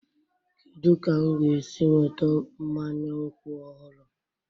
Kedu ka m ga-esi nweta mmanya nkwụ ọhụrụ?